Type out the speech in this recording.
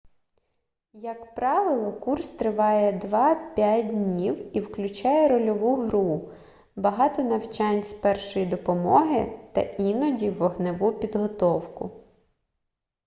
як правило курс триває 2-5 днів і включає рольову гру багато навчань з першої допомоги та іноді вогневу підготовку